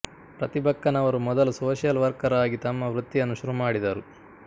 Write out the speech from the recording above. ಪ್ರತಿಭಕ್ಕನವರು ಮೊದಲು social worker ಆಗಿ ತಮ್ಮ ವೃತ್ತಿಯನ್ನು ಶುರುಮಾಡಿದರು